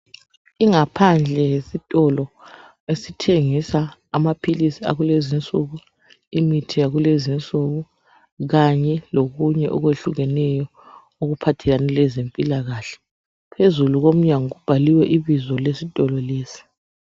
Ingaphandle yesitolo esithengisa amaphilizi akulezi insuku, imithi yakulezi insuku, kanye lokunye okuhlukeneyo okuphathelene lezempilakahle ,phezulu komnyango kubhaliwe ibizo lesitolo lesi.